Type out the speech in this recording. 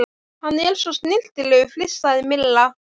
Hann er svo snyrtilegur flissaði Milla.